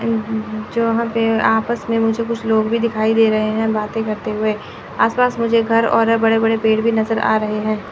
जो वहां पे आपस में मुझे कुछ लोग भी दिखाई दे रहे हैं बातें करते हुए। आस पास मुझे घर और बड़े-बडे पेड़ भी नज़र आ रहे हैं।